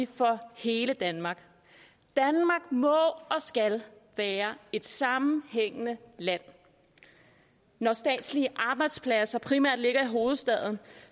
for hele danmark danmark må og skal være et sammenhængende land når statslige arbejdspladser primært ligger i hovedstaden